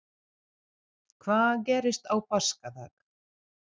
Hvað gerðist á páskadag?